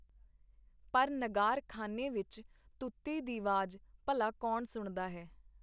ਪਰ ਨਗਾਰ-ਖਾਨੇ ਵਿਚ ਤੂਤੀ ਦੀ ਵਾਜ ਭਲਾ ਕੌਣ ਸੁਣਦਾ ਹੈ!.